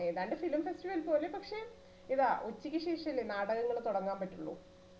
ഏതാണ്ട് film festival പോലെ പക്ഷെ ഇതാ ഉച്ചയ്ക്ക് ശേഷല്ലേ നാടകങ്ങൾ തുടങ്ങാൻ പറ്റുള്ളൂ